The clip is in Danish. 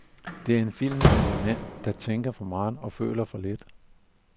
Det er en film af en mand, der tænker for meget og føler for lidt.